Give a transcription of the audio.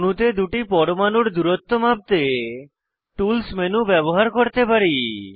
অণুতে দুটি পরমাণুর দূরত্ব মাপতে টুলস মেনু ব্যবহার করতে পারি